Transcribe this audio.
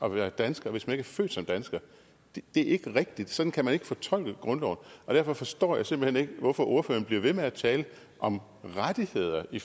at være dansker hvis man ikke er født som dansker det er ikke rigtigt sådan kan man ikke fortolke grundloven derfor forstår jeg simpelt hen ikke hvorfor ordføreren bliver ved med at tale om rettigheder i